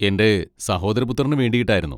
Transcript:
എൻ്റെ സഹോദരപുത്രന് വേണ്ടിയിട്ടായിരുന്നു.